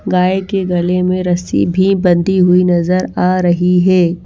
गाय के गले में रस्सी भी बंधी हुई नजर आ रही है।